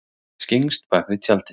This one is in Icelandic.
Skyggnst bakvið tjaldið